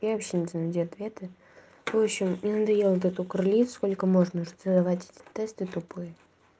я вообще не знаю где ответы в будущем мне надоел этот укрли сколько можно задавать эти тесты тупые